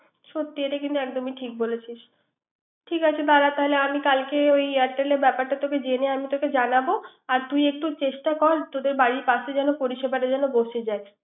সত্যি এটা কিন্তু ঠিক বলেছি। ঠিক আছে দার তাহলে আমি কলাকে ওই Airtel ব্যাপারটা তোকে জেনে আমি তোকে জানাব। আর তুই একটু চেষ্টা কর তোদের বাড়ি পাশে যেন পরিসেবাটা যেন বসে যায়।